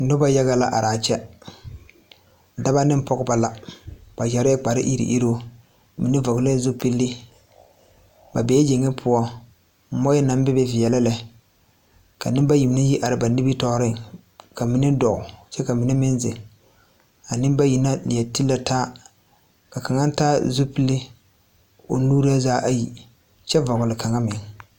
Noba yaga la are a kyɛ, dɔba ne pɔgeba la, ba yarɛɛ kpare iri iruu, mine fɔle la zupile, ba bee yeŋe poɔ, mɔɛ naŋ bebe veɛlɛ lɛ, ka nembayi mine yi te are ba nimiritɔɔre, ka mine dɔɔ kyɛ ka mine meŋ zeŋ, a nembayi na leu ti la taa, ka kaŋa taa zupil o nuuri zaa ayi kyɛ fɔle kaŋa meŋ